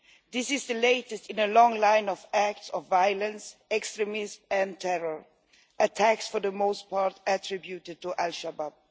This is the latest in a long line of acts of violence, extremism and terror attacks for the most part attributed to al Shabaab.